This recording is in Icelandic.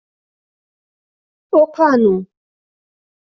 Og hvað nú?